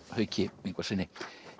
Hauki Ingvarssyni